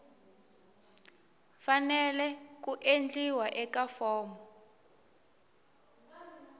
fanele ku endliwa eka fomo